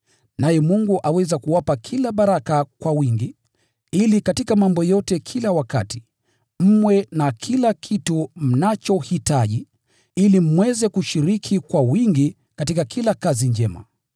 Naye Mungu aweza kuwapa kila baraka kwa wingi, ili katika mambo yote kila wakati, mwe na kila kitu mnachohitaji, ili mweze kushiriki kwa wingi katika kila kazi njema.